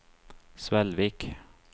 Svelvik